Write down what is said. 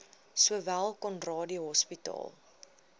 sowel conradie hospitaal